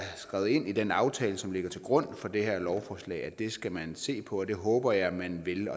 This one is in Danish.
skrevet ind i den aftale som ligger til grund for det her lovforslag at det skal man se på det håber jeg man vil